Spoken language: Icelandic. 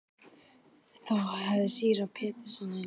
Þá hafði síra Pétur Einarsson sýslumaður á Arnarstapa fyrstur